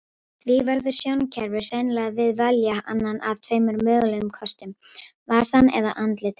Því verður sjónkerfið hreinlega að velja annan af tveimur mögulegum kostum, vasann eða andlitin.